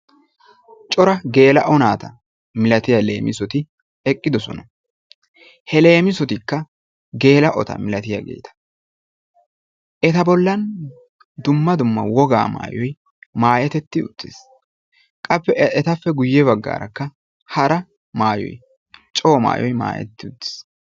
Cora geela'o naata milatiya leemissoti eqqidosona. He leemissotikka geela'ota milatiyageeta. Eta bollan dumma dumma wogaa maayoy maayetetti uttis. Etappe guyye baggaarakka hara maayoy coo maayoy maayetti uttiis.